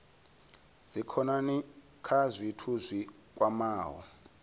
dzikhonani kha zwithu zwi kwamaho